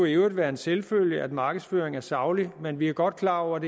i øvrigt være en selvfølge at markedsføring er saglig men vi er godt klar over